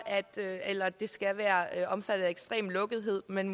eller at det skal være omfattet af ekstrem lukkethed men